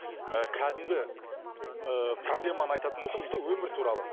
і кәдімгі ііі проблеманы айтатын болсам дейді де өмір туралы